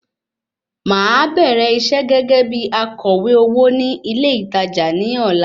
Màá bẹ̀rẹ̀ iṣẹ́ gẹ́gẹ́ bí akọ̀wé owó ní ilé ìtajà ní ọ̀la